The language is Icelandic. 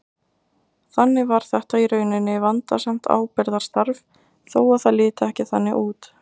Þannig var þetta í rauninni vandasamt ábyrgðarstarf þó að það liti ekki þannig út.